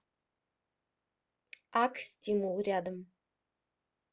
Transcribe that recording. ак стимул рядом